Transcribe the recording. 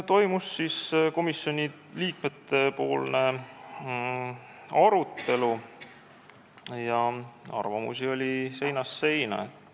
Toimus komisjoni liikmete arutelu ja arvamusi oli seinast seina.